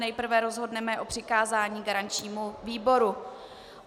Nejprve rozhodneme o přikázání garančnímu výboru.